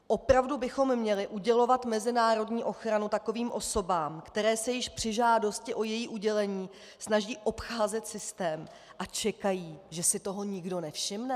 Opravdu bychom měli udělovat mezinárodní ochranu takovým osobám, které se již při žádosti o její udělení snaží obcházet systém a čekají, že si toho nikdo nevšimne?